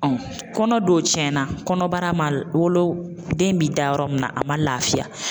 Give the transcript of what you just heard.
kɔnɔ don cɛn na kɔnɔbara ma wolo den mi da yɔrɔ min na, a ma lafiya.